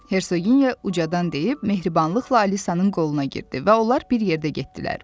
Hersoginya ucadan deyib, mehribanlıqla Alisanın qoluna girdi və onlar bir yerdə getdilər.